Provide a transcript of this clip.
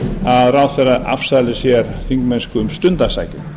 að ráðherra afsali sér þingmennsku um stundarsakir